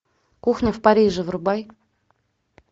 кухня в париже врубай